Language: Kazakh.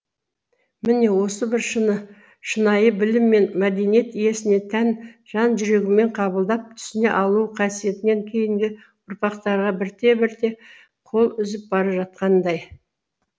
міне осы бір шынайы білім мен мәдениет иесіне тән жан жүрегімен қабылдап түсіне алу қасиетінен кейінгі ұрпақтар бірте бірте қол үзіп бара жатқандай